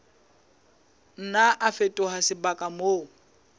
nna a fetoha sebaka moo